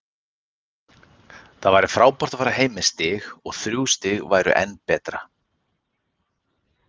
Það væri frábært að fara heim með stig og þrjú stig væri enn betra.